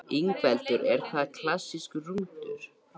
Ingveldur: Er það klassískur rúntur?